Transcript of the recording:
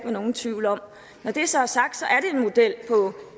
nogen tvivl om når det så er sagt